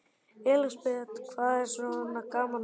Elísabet: Hvað er svona gaman við þetta?